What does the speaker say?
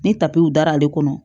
Ni tapiw dara ale kɔnɔ